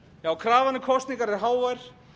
já krafan um kosningar er hávær